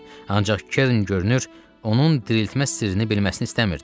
Ancaq Kern görünür, onun diriltmə sirrini bilməsini istəmirdi.